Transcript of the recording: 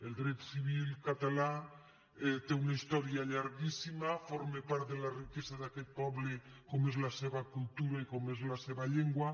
el dret civil català té una història llarguíssima forma part de la riquesa d’aquest poble com és la seva cultura i com és la seva llengua